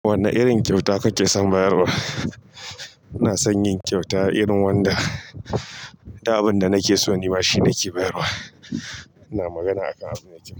Wanne irin kyauta kake son bayarwa? Ina son yin kyauta irin wanda, duk abin da nake so ni ma shi nake bayarwa. Ina magana akan abu mai kyau.